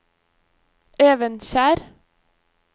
Evenskjer